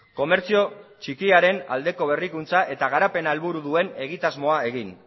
komertzio txikiaren aldeko berrikuntza eta garapena helburu duen egitasmoa egin